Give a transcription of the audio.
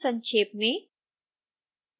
संक्षेप में